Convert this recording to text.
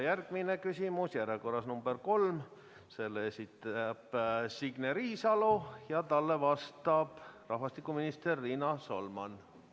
Järgmine küsimus, järjekorras number 3, selle esitab Signe Riisalo ja talle vastab rahvastikuminister Riina Solman.